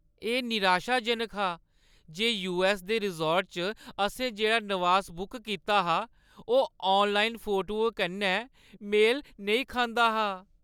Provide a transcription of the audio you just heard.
एह् निराशाजनक हा जे यूऐस्स दे रिसॉर्ट च असें जेह्ड़ा नवास बुक कीता हा ओह् आनलाइन फोटुएं कन्नै मेल नेईं खंदा हा।